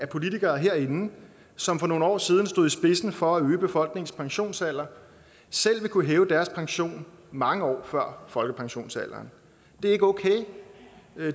politikere herinde som for nogle år siden stod i spidsen for at øge befolkningens pensionsalder selv vil kunne hæve deres pension mange år før folkepensionsalderen det er ikke okay